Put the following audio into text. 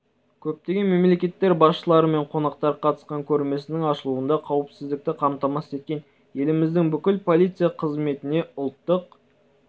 көптеген мемлекеттер басшылары мен қонақтар қатысқан көрмесінің ашылуында қауіпсіздікті қамтамасыз еткен еліміздің бүкіл полиция қызметіне ұлттық